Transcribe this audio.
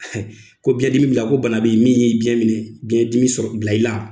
Ko biɲɛn dimi b'ila ko bana bɛ ye min y'i biɲɛn minɛ biɲɛn dimi sɔrɔ bila i la